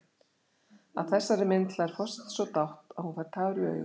Að þessari mynd hlær forseti svo dátt að hún fær tár í augun.